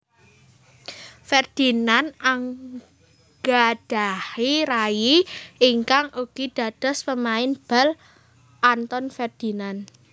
Ferdinand nggadhahi rayi ingkang ugi dados pemain bal Anton Ferdinand